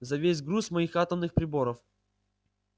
за весь груз моих атомных приборов